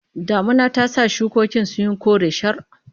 Damuna ta sa shukokin sun yi kore shar.